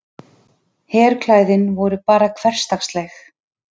Herklæðin voru bara hversdagsleg.